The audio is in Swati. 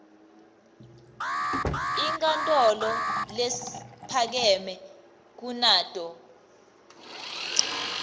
inkantolo lephakeme kunato